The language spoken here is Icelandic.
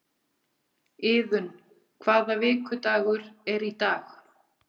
Iðunn, hvaða vikudagur er í dag?